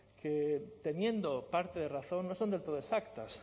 que teniendo parte de razón no son del todo exactas